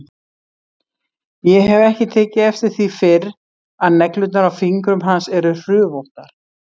Ég hef ekki tekið eftir því fyrr að neglurnar á fingrum hans eru hrufóttar.